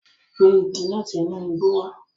Gbé igi lati inu igbo wá!